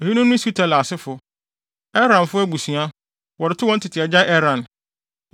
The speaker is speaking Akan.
Eyinom ne Sutela asefo: Eranfo abusua, wɔde too wɔn tete agya Eran.